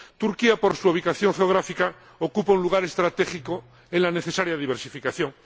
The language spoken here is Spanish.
Turquía, por su ubicación geográfica, ocupa un lugar estratégico en la necesaria diversificación.